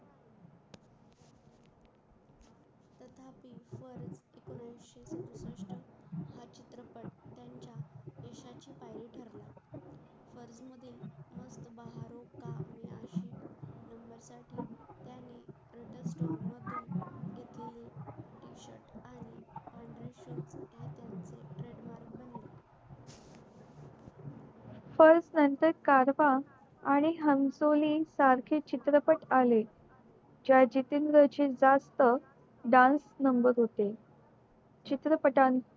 purse नंतर गारवा आणि हंसोली सारखे चित्रपट आले ज्या जितेन्द्र ची जास्त dance रंगत होते चित्रपटांशी